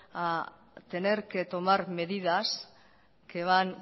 a tener que tomar medidas que van